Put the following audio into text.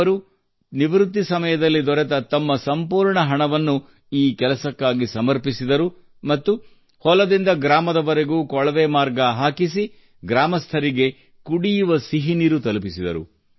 ಅವರು ನಿವೃತ್ತಿ ಸಮಯದಲ್ಲಿ ದೊರೆತ ತಮ್ಮ ಸಂಪೂರ್ಣ ಹಣವನ್ನು ಈ ಕೆಲಸಕ್ಕಾಗಿ ಸಮರ್ಪಿಸಿದರು ಮತ್ತು ಹೊಲದಿಂದ ಗ್ರಾಮದವರೆಗೂ ಕೊಳವೆ ಮಾರ್ಗ ಹಾಕಿಸಿ ಗ್ರಾಮಸ್ಥರಿಗೆ ಕುಡಿಯುವ ಸಿಹಿನೀರು ತಲುಪಿಸಿದರು